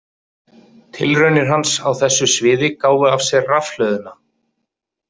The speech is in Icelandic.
Tilraunir hans á þessu sviði gáfu af sér rafhlöðuna.